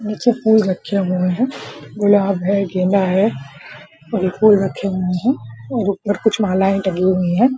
नीचे फूल रखे हुए हैं और गुलाब है गेंदा है और ये फूल रखे हुए हैं ऊपर कुछ मालाएं टंगी हुई है।